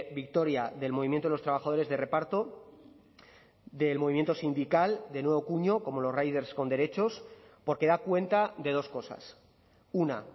victoria del movimiento de los trabajadores de reparto del movimiento sindical de nuevo cuño como los riders con derechos porque da cuenta de dos cosas una